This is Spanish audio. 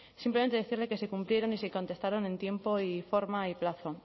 simplemente decirle que se cumplieron y se contestaron en tiempo y forma y plazo